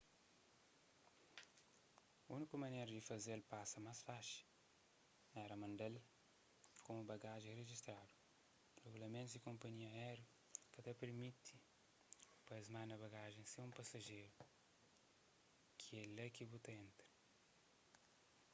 úniku manera di faze-l pasa más faxi éra manda-l komu bagajen rijistadu rigulamentus di konpanhias áerius ka ta permiti-s pa es manda bagajen sen un pasajeru ki é lá ki bu ta entra